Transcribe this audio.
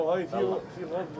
Ayda!